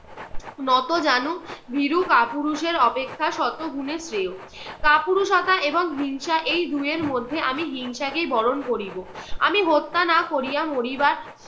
নতজানু ভীরু কাপুরুষের অপেক্ষা শত গুণে শ্রেয়। কাপুরুষতা এবং হিংসা এই দুইয়ের মধ্যে আমি হিংসাকেই বরণ করিব। আমি হত্যা না করিয়া মরিবার